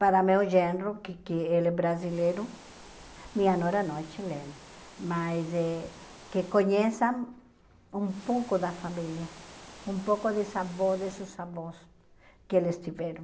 Para meu genro, que que ele é brasileiro, minha nora não é chilena, mas eh que conheçam um pouco da família, um pouco de avó, desses avós que eles tiveram.